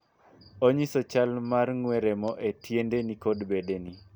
Onyiso chal mar ng'wee remo e tiendeni kod bedeni.